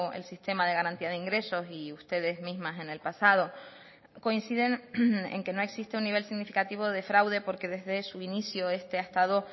el sistema de garantía de ingresos y ustedes mismas en el pasado coinciden en que no existe un nivel significativo de fraude porque desde su inicio este ha estado